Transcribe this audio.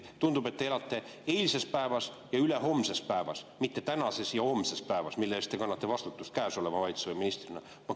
Tundub, et te elate eilses päevas ja ülehomses päevas, mitte tänases ja homses päevas, mille eest te kannate vastutust käesoleva valitsuse ministrina.